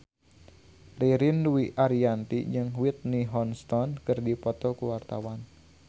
Ririn Dwi Ariyanti jeung Whitney Houston keur dipoto ku wartawan